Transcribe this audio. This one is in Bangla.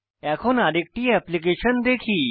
এখন আরেকটি অ্যাপ্লিকেশন দেখি